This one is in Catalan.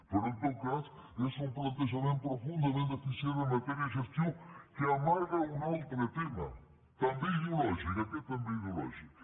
però en tot cas és un plantejament profundament deficient en matèria de gestió que amaga un altre tema també ideològic aquest també ideològic